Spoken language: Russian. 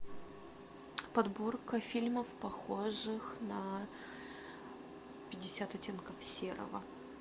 подборка фильмов похожих на пятьдесят оттенков серого